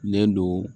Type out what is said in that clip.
Len don